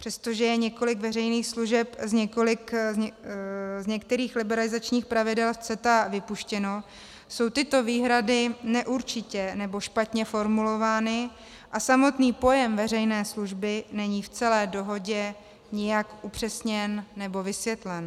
Přestože je několik veřejných služeb z některých liberalizačních pravidel v CETA vypuštěno, jsou tyto výhrady neurčitě nebo špatně formulovány a samotný pojem veřejné služby není v celé dohodě nijak upřesněn nebo vysvětlen.